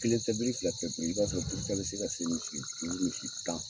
Kelen tɛ biri, fila tɛ biri, i b'a sɔrɔ biri ta bɛ se ka se misi durun, misi tan